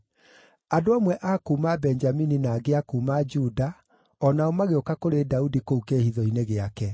Andũ amwe a kuuma Benjamini na angĩ a kuuma Juda o nao magĩũka kũrĩ Daudi kũu kĩĩhitho-inĩ gĩake.